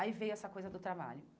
Aí veio essa coisa do trabalho.